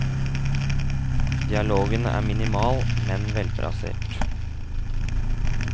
Dialogen er minimal, men velplassert.